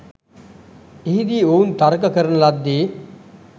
එහිදී ඔවුන් තර්ක කරන ලද්දේ